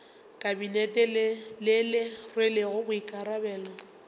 kabinete le le rwelego boikarabelo